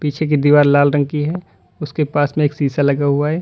पीछे की दीवार लाल रंग की है उसके पास में एक शीशा लगा हुआ है।